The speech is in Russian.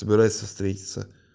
собирается встретиться